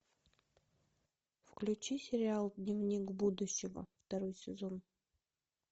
включи сериал дневник будущего второй сезон